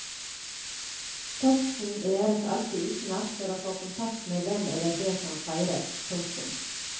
Teksten læres alltid utenat for å få kontakt med den eller de som feires. punktum